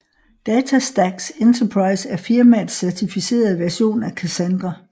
DataStax Enterprise er firmaets certificerede version af Cassandra